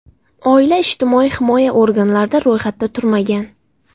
Oila ijtimoiy himoya organlarida ro‘yxatda turmagan.